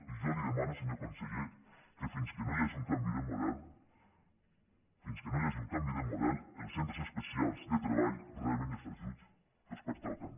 i jo li demano senyor conseller que fins que no hi hagi un canvi de model fins que no hi hagi un canvi de model els centres especials de treball rebin els ajuts que els pertoquen